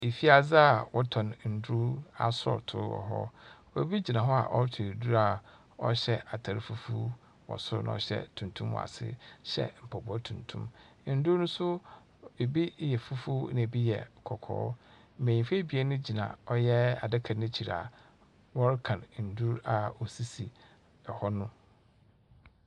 Efiadze a wɔtɔn ndur asɔɔtow wɔ hɔ. Obi gyina hɔ a ɔrotɔ edur a ɔhyɛ atar fufuw wɔ sor na ɔhyɛ tuntum wɔ ase hyɛ mpaboa tuntum. Ndur no nso, ɛbi yɛ fufuw, na ɛbi yɛ kɔkɔɔ. Mbenyinfo ebien gyina ɔyɛ adaka no ekyir a wɔrekan ndur a osisi hɔ no.